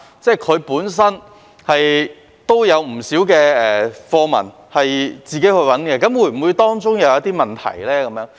中國語文科也有不少教材是由教師自行尋找的，那麼當中有否出現問題呢？